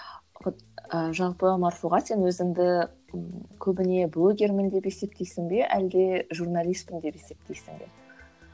і жалпы марфуға сен өзіңді көбіне блогермін деп есептейсің бе әлде журналистпін деп есептейсің бе